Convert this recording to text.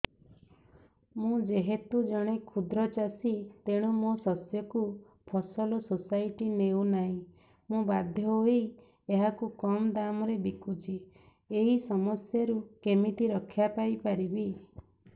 ମୁଁ ଯେହେତୁ ଜଣେ କ୍ଷୁଦ୍ର ଚାଷୀ ତେଣୁ ମୋ ଶସ୍ୟକୁ ଫସଲ ସୋସାଇଟି ନେଉ ନାହିଁ ମୁ ବାଧ୍ୟ ହୋଇ ଏହାକୁ କମ୍ ଦାମ୍ ରେ ବିକୁଛି ଏହି ସମସ୍ୟାରୁ କେମିତି ରକ୍ଷାପାଇ ପାରିବି